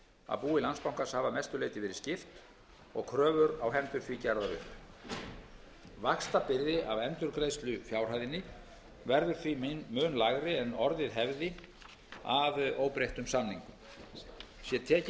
að búi landsbankans hafi að mestu leyti verið skipt og kröfur á hendur því gerðar upp vaxtabyrði af endurgreiðslufjárhæðinni verður því mun lægri en orðið hefði að óbreyttum samningum sé tekið tillit til